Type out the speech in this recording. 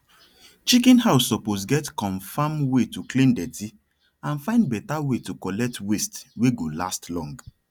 chicken house suppose get comfirm way to clean dirty and find better way to collect waste wey go last long